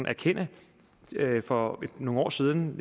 erkende at for nogle år siden